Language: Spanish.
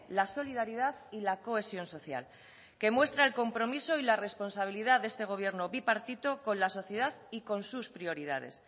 la solidaridad y la cohesión social que muestra el compromiso y la responsabilidad de este gobierno bipartito con la sociedad y con sus prioridades